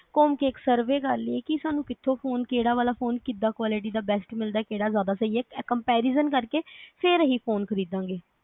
ਘੁੰਮ ਕੇ ਇਕ ਸਰਵੇ ਕਰ ਲਈਏ ਸਾਨੂੰ ਕਿਥੋਂ ਫੋਨ ਕਿਹੜਾ ਵਾਲਾ ਫੋਨ ਕਿਦਾਂ quality ਦਾ best ਮਿਲਦਾ ਕਿਹੜਾ ਜਾਦਾ ਸਹੀ ਆ comperision ਕਰ ਕੇ ਫਿਰ ਅਹੀ ਫੋਨ ਖ੍ਰੀਦਾ ਗੇ